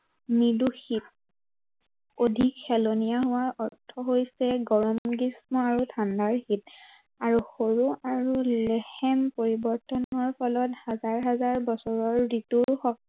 নিৰ্দোষী অধিক হেলনীয়া হোৱাৰ অৰ্থ হৈছে, গৰম গ্ৰীস্ম আৰু ঠাণ্ডাৰ আৰু সৰু লেহেম পৰিৱৰ্তনৰ ফলত হাজাৰ হাজাৰ বছৰৰ ঋতুৰ